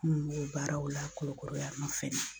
N b'o baaraw la Kulukoro ya nɔ fɛnɛ